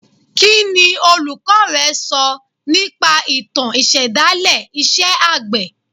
Kí ni olùkọ́ rẹ sọ nípa ìtàn ìṣẹ̀dálẹ̀ iṣẹ́ àgbẹ̀